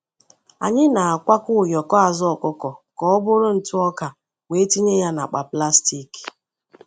Anyị na-akwọ ụyọkọ azụ ọkụkọ ka ọ bụrụ ntụ ọka wee tinye ya n’akpa plastik.